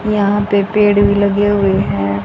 यहाँ पे पेड़ भी लगे हुए हैं।